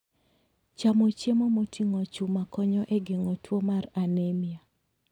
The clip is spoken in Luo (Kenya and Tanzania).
Chamo chiemo moting'o chuma konyo e geng'o tuo mar anemia.